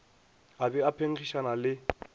a be a phenkgišana le